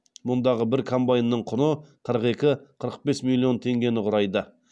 мұндағы бір комбайнның құны қырық екі қырық бес миллион теңгені құрайды